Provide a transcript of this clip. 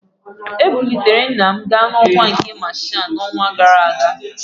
Ebuliri nna m ga n'ọkwa nke masha n'ọnwa gara aga